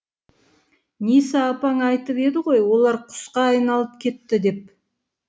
ниса апаң айтып еді ғой олар құсқа айналып кетті деп